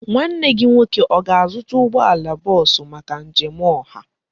Nwanne gị nwoke ọ ga-azụta ụgbọala bọọsụ maka njem ọha?